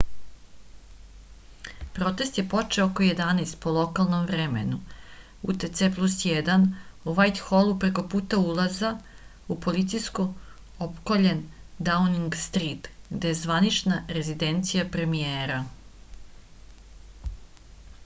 протест је почео око 11:00 по локалном времену utc+1 у вајтхолу преко пута улаза у полицијом опкољен даунинг стрит где је званична резиденција премијера